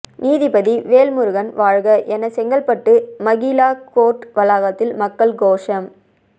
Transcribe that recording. நீதிபதி வேல்முருகன் வாழ்க என செங்கல்பட்டு மகிளா கோர்ட் வளாகத்தில் மக்கள் கோஷம்